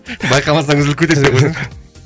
байқамасаң үзіліп кетесің деп қойсаңшы